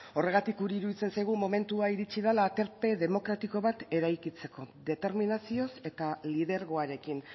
horregatik guri iruditzen zaigu momentua iritsi dela aterpe demokratiko bat eraikitzeko determinazioz eta lidergoarekin